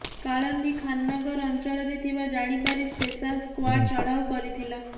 କାଳନ୍ଦୀ ଖାନ୍ନଗର ଅଞ୍ଚଳରେ ଥିବା ଜାଣିପାରି ସ୍ପେଶାଲ୍ ସ୍କ୍ୱାର୍ଡ଼ ଚଢ଼ାଉ କରିଥିଲା